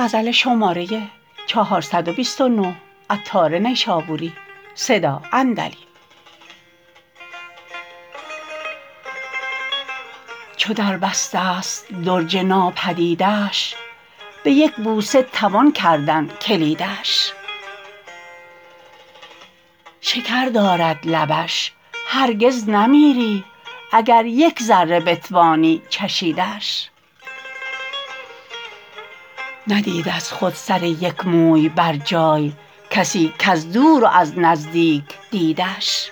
چو دربسته است درج ناپدیدش به یک بوسه توان کردن کلیدش شکر دارد لبش هرگز نمیری اگر یک ذره بتوانی چشیدش ندید از خود سر یک موی بر جای کسی کز دور و از نزدیک دیدش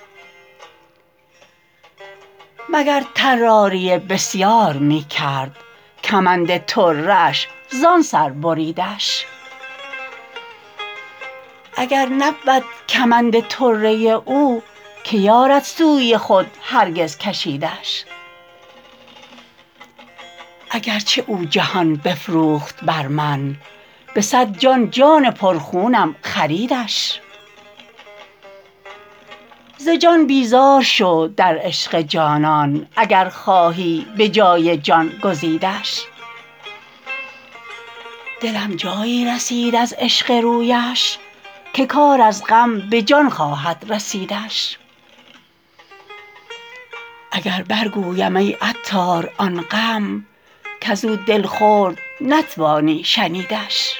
مگر طراری بسیار می کرد کمند طره اش زان سر بریدش اگر نبود کمند طره او که یارد سوی خود هرگز کشیدش اگرچه او جهان بفروخت بر من به صد جان جان پرخونم خریدش ز جان بیزار شو در عشق جانان اگر خواهی به جای جان گزیدش دلم جایی رسید از عشق رویش که کار از غم به جان خواهد رسیدش اگر بر گویم ای عطار آن غم کزو دل خورد نتوانی شنیدش